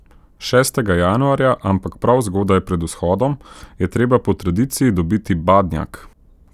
Šestega januarja, ampak prav zgodaj, pred vzhodom, je treba po tradiciji dobiti badnjak.